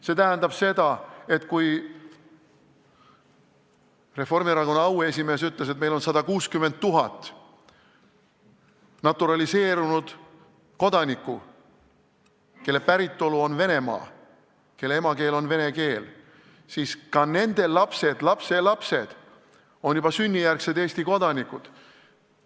See tähendab seda, et kui Reformierakonna auesimees ütles, et meil on 160 000 naturaliseerunud kodanikku, kelle päritolu on Venemaa, kelle emakeel on vene keel, siis ka nende lapsed ja lapselapsed on juba sünnijärgsed Eesti kodanikud.